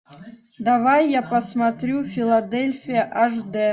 давай я посмотрю филадельфия аш д